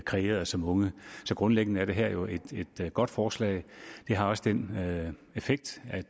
kreerede som unge så grundlæggende er det her jo et godt forslag det har også den effekt at